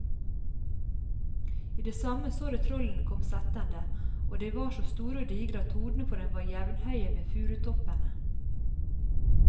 I det samme så de trollene komme settende, og de var så store og digre at hodene på dem var jevnhøye med furutoppene.